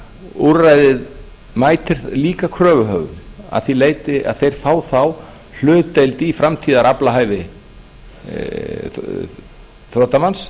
úrræðið mætir líka kröfuhöfum að því leyti að þeir fá þá hlutdeild á framtíðaraflahæfi þrotamanns